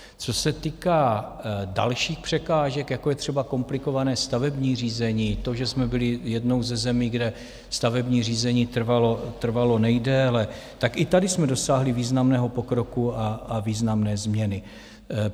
Co se týká dalších překážek, jako je třeba komplikované stavební řízení, to, že jsme byli jednou ze zemí, kde stavební řízení trvalo nejdéle, tak i tady jsme dosáhli významného pokroku a významné změny.